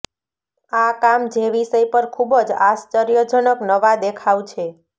આ કામ જે વિષય પર ખૂબ જ આશ્ચર્યજનક નવા દેખાવ છે